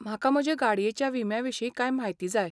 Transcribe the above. म्हाका म्हजे गाडयेच्या विम्याविशीं कांय म्हायती जाय.